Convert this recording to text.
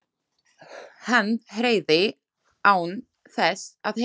Hann heyrði án þess að heyra.